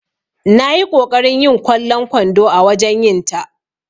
Nayi ƙoƙarin yin kwallon kwando a wajen yinta.